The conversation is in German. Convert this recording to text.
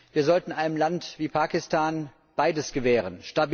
Wir sollten einem Land wie Pakistan beides gewähren.